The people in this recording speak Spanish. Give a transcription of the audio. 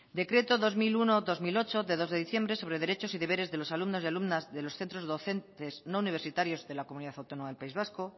decreto dos mil uno dos mil ocho de dos de diciembre sobre derechos y deberes de los alumnos y alumnas de los centros docentes no universitarios de la comunidad autónoma del país vasco